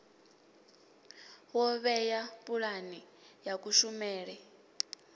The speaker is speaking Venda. wo vhea pulane ya kushumele